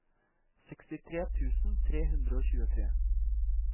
sekstitre tusen tre hundre og tjuetre